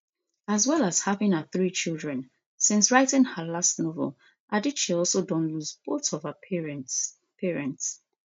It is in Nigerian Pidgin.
as well as having her three children since writing her last novel adichie also don lose both of her parents parents